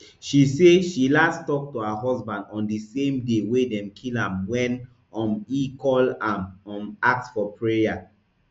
she say she last tok to her husband on di same day wey dem kill am wen um e call am um ask for prayer